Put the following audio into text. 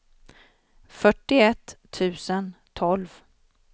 fyrtioett tusen tolv